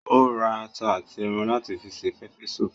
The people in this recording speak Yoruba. Ó ra ata àti ẹran láti fi se pepper soup